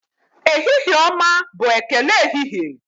Ehihie ọma bụ ekele ehihie.